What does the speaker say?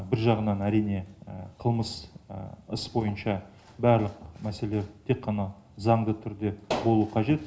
бір жағынан әрине қылмыс іс бойынша барлық мәселе тек ғана заңды түрде болу қажет